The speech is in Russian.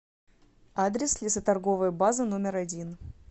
адрес лесоторговая база номер один